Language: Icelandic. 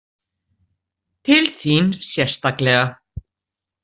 Til þín sérstaklega.